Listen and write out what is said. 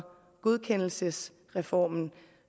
godkendelsesreformen og